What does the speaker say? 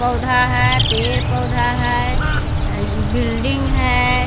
पौधा है पेड़-पौधा है बिल्डिंग है।